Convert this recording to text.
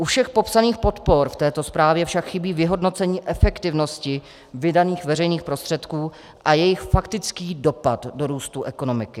U všech popsaných podpor v této zprávě však chybí vyhodnocení efektivnosti vydaných veřejných prostředků a jejich faktický dopad do růstu ekonomiky.